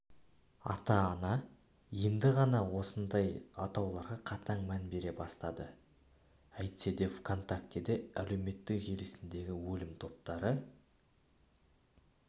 ата-ана енді ғана осындай атауларға қатаң мән бере бастады әйтседе вконтакте әлеуметтік желісіндегі өлім топтары